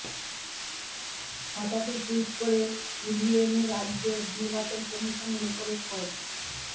হঠাৎই টুইট করে ইভিএম ও রাজ্য নির্বাচন কমিশনের উপরে ক্ষোভ